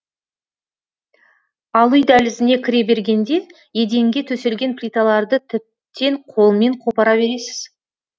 ал үй дәлізіне кіре бергенде еденге төселген плиталарды тіптен қолмен қопара бересіз